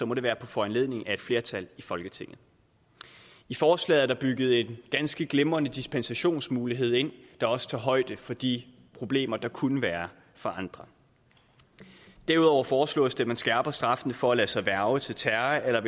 må det være på foranledning af et flertal i folketinget i forslaget er der bygget en ganske glimrende dispensationsmulighed ind der også tager højde for de problemer der kunne være for andre derudover foreslås det at man skærper straffene for at lade sig hverve til terror eller